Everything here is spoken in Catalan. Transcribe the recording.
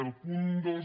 al punt dos